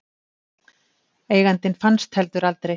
Eigandinn fannst heldur aldrei.